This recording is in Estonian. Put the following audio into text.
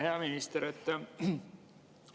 Hea minister!